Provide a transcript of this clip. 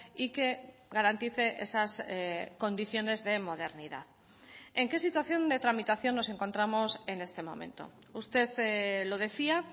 y que garantice esas condiciones de modernidad en qué situación de tramitación nos encontramos en este momento usted lo decía